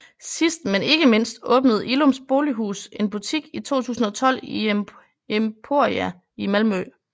Sidst men ikke mindst åbnede Illums Bolighus en butik i 2012 i Emporia i Malmö